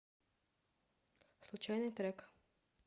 случайный трек